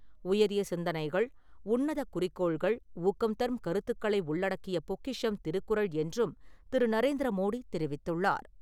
உயரிய சிந்தனைகள், உன்னத குறிக்கோள்கள், ஊக்கம் தரும் கருத்துக்களை உள்ளடக்கிய பொக்கிஷம் திருக்குறள் என்றும் திரு. நரேந்திர மோடி தெரிவித்துள்ளார்.